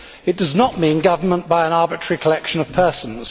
It does not mean government by an arbitrary collection of persons.